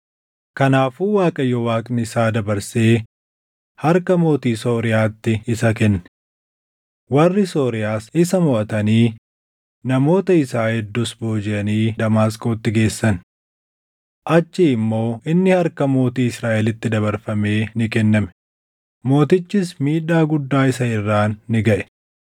Kanaafuu Waaqayyo Waaqni isaa dabarsee harka mootii Sooriyaatti isa kenne. Warri Sooriyaas isa moʼatanii namoota isaa hedduus boojiʼanii Damaasqootti geessan. Achii immoo inni harka mootii Israaʼelitti dabarfamee ni kenname; mootichis miidhaa guddaa isa irraan ni gaʼe.